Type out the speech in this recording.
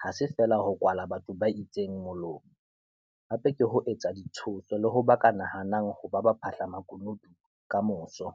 ha se feela ho kwala batho ba itseng molomo - hape ke ho etsa ditshoso le ho ba ka nahang ho ba baphahlamakunutu kamoso.